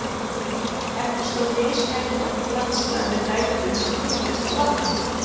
Eftir stóð mishæðótt landslag með dældum sem fylltust af vatni.